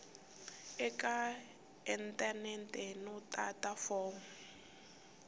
eka inthanete no tata fomo